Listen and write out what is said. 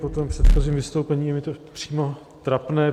Po tom předchozím vystoupení je mi to přímo trapné.